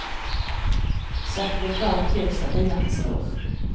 Så att det blir grönt ljus där bilarna står.